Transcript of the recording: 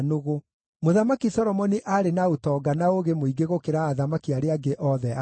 Mũthamaki Solomoni aarĩ na ũtonga na ũũgĩ mũingĩ gũkĩra athamaki arĩa angĩ othe a thĩ.